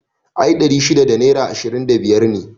I ɗari shida da naira ishirin da biyar ne